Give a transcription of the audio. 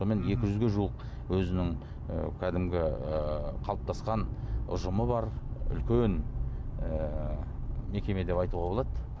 екі жүзге жуық өзінің ы кәдімгі ііі қалыптасқан ұжымы бар үлкен ііі мекеме деп айтуға болады